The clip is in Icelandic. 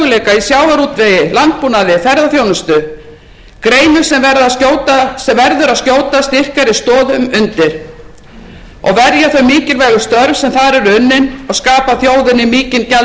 við mikla möguleika í sjávarútvegi landbúnaði ferðaþjónustu greinum sem verður að skjóta styrkari stoðum undir og verja þau mikilvægu störf sem þar eru unnin og skapa þjóðinni mikinn